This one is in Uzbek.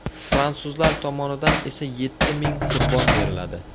Fransuzlar tomonidan esa yetti ming qurbon beriladi.